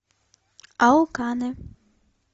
алканы